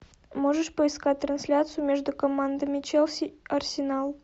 можешь поискать трансляцию между командами челси арсенал